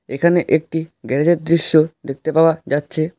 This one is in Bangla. এখানে একটি গ্যারেজের দৃশ্য দেখতে পাওয়া যাচ্ছে।